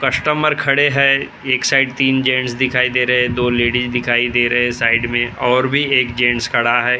Customer खड़े है एक साइड़ तीन जेंट्स दिखाई दे रहे हैं दो लेडीज दिखाई दे रहे हैं साइड में और भी एक जेंट्स खड़ा है।